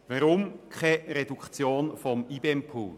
Weshalb keine Reduktion des IBEM-Pools?